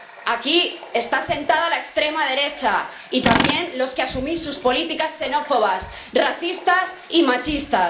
Aquí están sentados la extrema derecha y también los que asumís sus políticas xenófobas, racistas y machistas.